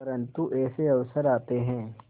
परंतु ऐसे अवसर आते हैं